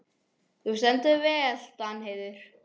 Þú stendur þig vel, Danheiður!